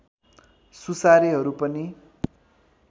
सुसारेहरू पनि